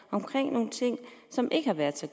nogle ting som ikke har været så